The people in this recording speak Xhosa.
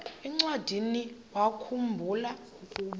encwadiniwakhu mbula ukuba